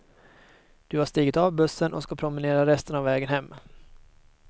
Du har stigit av bussen och ska promenera resten av vägen hem.